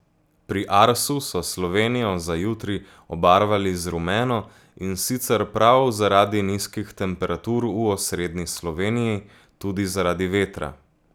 Pri Arsu so Slovenijo za jutri obarvali z rumeno, in sicer prav zaradi nizkih temperatur, v osrednji Sloveniji tudi zaradi vetra.